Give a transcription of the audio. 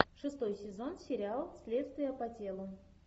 шестой сезон сериал следствие по телу